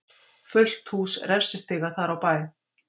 Fullt hús refsistiga þar á bæ.